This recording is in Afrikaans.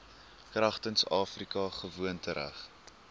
kragtens afrika gewoontereg